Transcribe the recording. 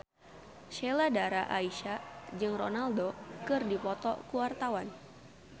Sheila Dara Aisha jeung Ronaldo keur dipoto ku wartawan